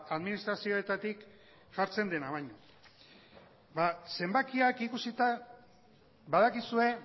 ba administrazioetatik jartzen dena baino ba zenbakiak ikusita badakizue